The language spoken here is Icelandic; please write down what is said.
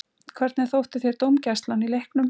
Hvernig þótti þér dómgæslan í leiknum?